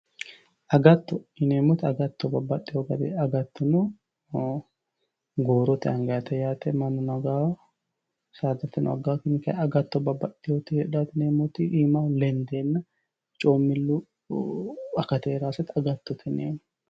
Agatto, agatto yineemmoti babbaxino gari agatto noo, goorote angannite yaate mannuno aganno saadano aganno tinni kayinni babbaxitewoti heedhano yineemmoti iimaho lendenna coomilu akati heeranosetta agattote yineemmo